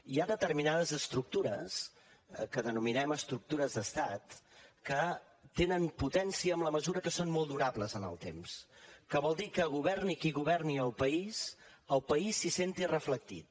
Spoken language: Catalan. hi ha determinades estructures que denominem estructures d’estat que tenen potència en la mesura que són molt durables en el temps que vol dir que governi qui governi el país el país s’hi senti reflectit